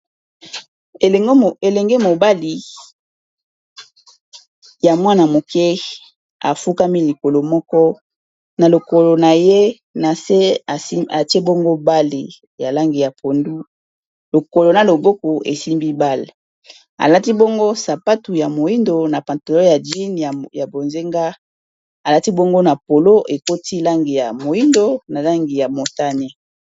elenge mobali ya mwana moke afukami likolo moko na lokolo na ye na se atie bongo bale ya langi ya pondu lokolo na loboko esimbi bale alati bongo sapatu ya moindo na pantalon ya jeans ,ya bozenga alati bongo na polo, ekoti langi ya moindo na langi ya motane